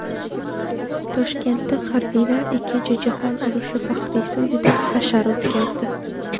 Toshkentda harbiylar ikkinchi jahon urushi faxriysi uyida hashar o‘tkazdi.